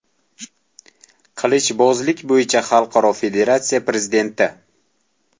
qilichbozlik bo‘yicha Xalqaro federatsiya prezidenti.